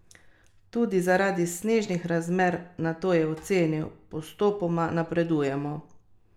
Tudi zaradi snežnih razmer, nato je ocenil: "Postopoma napredujemo.